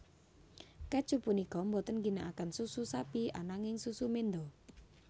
Kèju punika boten ngginakaken susu sapi ananging susu menda